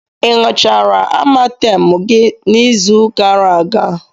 Ị ṅụchara Amatem gị n'izu gara aga?